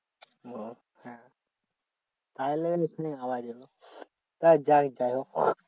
তার কারণ এখানে আওয়াজ এল যাইহোক